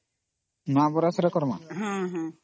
ନୂଆ ବର୍ଷ ରେ କରିବା